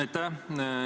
Aitäh!